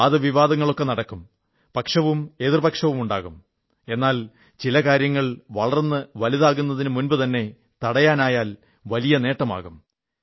വാദവിവാദങ്ങളൊക്കെ നടക്കും പക്ഷവും എതിർപക്ഷവുമൊക്കെയുണ്ടാകും എന്നാൽ ചില കാര്യങ്ങൾ വളർന്നു വലുതാകുന്നതിനു മുമ്പുതന്നെ തടയാനായാൽ വലിയ നേട്ടമുണ്ടാകും